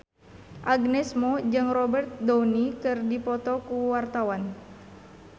Agnes Mo jeung Robert Downey keur dipoto ku wartawan